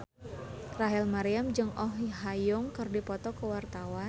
Rachel Maryam jeung Oh Ha Young keur dipoto ku wartawan